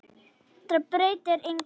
Þetta breytir engu.